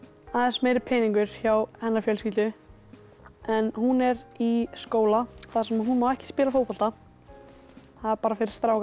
aðeins meiri peningur hjá hennar fjölskyldu hún er í skóla þar sem hún má ekki spila fótbolta það er bara fyrir strákana